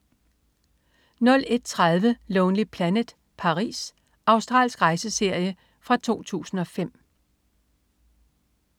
01.30 Lonely Planet: Paris. Australsk rejseserie fra 2005